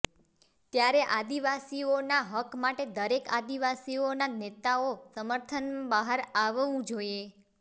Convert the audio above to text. ત્યારે આદિવાસીઓના હક માટે દરેક આદિવાસીઓના નેતાઓ સમર્થનમાં બહાર આવવું જોઈએ